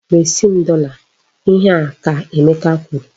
Resi m dọla! Ihe a ka Emeka kwuru!